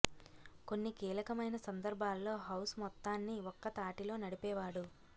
కొన్ని కీలకమైన సందర్భాల్లో హౌస్ మొత్తాన్ని ఒక్క తాటిలో నడిపేవాడు